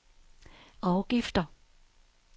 afgifter